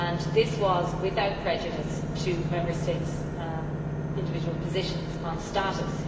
This was without prejudice to Member States' individual positions on status.